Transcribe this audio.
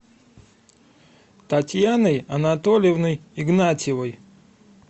татьяной анатольевной игнатьевой